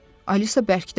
Alisa bərkdən dedi.